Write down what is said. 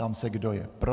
Ptám se, kdo je pro.